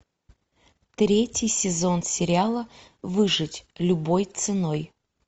третий сезон сериала выжить любой ценой